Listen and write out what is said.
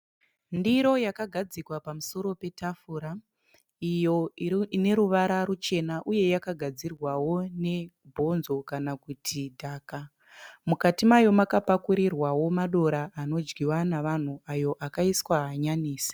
Ndiro yakagadzikwa pamusoro petafura iyo ineruvara ruchena uye yakagadzirwawo ne bhonzo kana kuti dhaka. Mukati mayo makapakurirwawo madora anodyiwa navanhu ayo akaiswa hanyanisi.